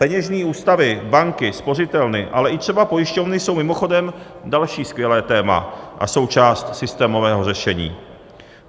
Peněžní ústavy, banky, spořitelny, ale třeba i pojišťovny jsou mimochodem další skvělé téma a součást systémového řešení.